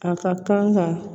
A ka kan ka